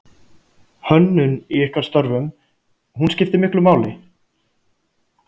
Hönnun í ykkar störfum, hún skiptir miklu máli?